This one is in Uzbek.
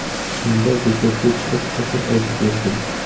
Shunda bekatga chiqib qo‘shiq aytib yurdim.